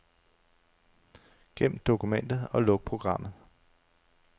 Gem dokumentet og luk programmet.